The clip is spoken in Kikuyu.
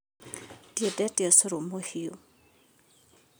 Ndiendete ũcũrũmũhiũ